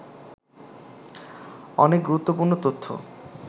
অনেক গুরুত্বপূর্ণ তথ্য